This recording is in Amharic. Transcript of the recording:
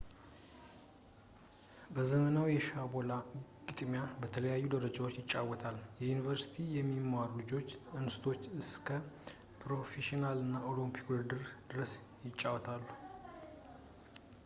ዘመናዊ የሻቦላ ግጥሚያ በተለያዩ ደረጃዎች ይጫወታል ዩኒቨርሲቲ ከሚማሩ ልጆች አንስቶ እስከ ፕሮፌሽናል እና የኦሎምፒክ ውድድር ድረስ ይጫወታል